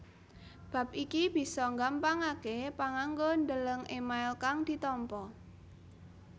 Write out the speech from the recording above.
Bab iki bisa nggampangaké panganggo ndeleng email kang ditampa